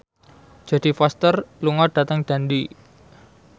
Jodie Foster lunga dhateng Dundee